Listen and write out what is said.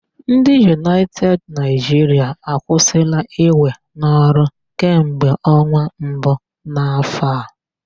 Ndị United Nigeria akwụsịla iwe n'ọrụ kamgbe ọnwa mbu n'afọ a.